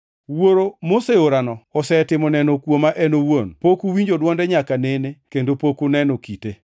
Wuoro moseorano osetimo neno kuoma en owuon. Pok uwinjo dwonde nyaka nene kendo pok uneno kite.